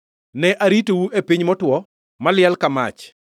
Ne aritou e piny motwo, maliel ka mach.